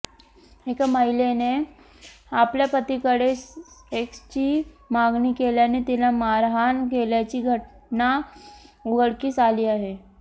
एका महिलेने आपल्या पतीकडे सेक्सची मागणी केल्याने तिला मारहाण केल्याची घटना उघडकीस आली आहे